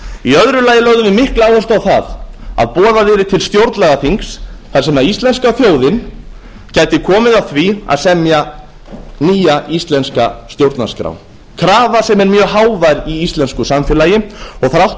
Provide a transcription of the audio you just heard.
í öðru lagi lögðum við mikla áherslu á það að boðað yrði til stjórnlagaþings þar sem íslenska þjóðin gæti komið að því að semja nýja íslenska stjórnarskrá krafa sem er mjög hávær í íslensku samfélagi og þrátt